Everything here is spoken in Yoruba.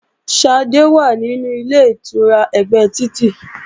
Ṣadé wà nínú Ilé-ìtura ẹ̀gbẹ́ títì